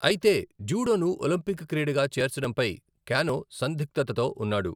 అయితే, జూడోను ఒలింపిక్ క్రీడగా చేర్చడంపై కానో సందిగ్ధతతో ఉన్నాడు.